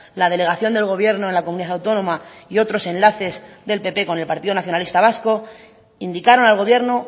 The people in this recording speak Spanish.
la delegación del gobierno en la comunidad autónoma y otros enlaces del pp con el partido nacionalista vasco indicaron al gobierno